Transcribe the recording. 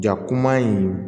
Ja kuma in